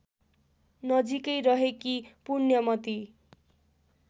नजिकै रहेकी पुण्यमती